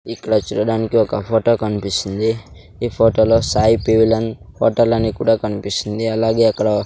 ఇక్కడ చూడడానికి ఒక ఫోటో కనిపిస్తుంది ఈ ఫోటో లో సాయి పీవలెన్ హోటల్ అని కూడా కనిపిస్తుంది అలాగే అక్కడ.